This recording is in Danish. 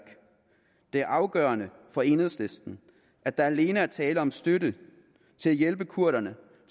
det er afgørende for enhedslisten at der alene er tale om støtte til at hjælpe kurderne